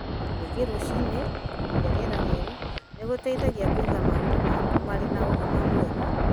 Gũthiĩ rũcinĩ kũhuhia rĩera rĩerũ nĩ kũgũteithia kũiga mahũhu maku marĩ na ũgima mwega.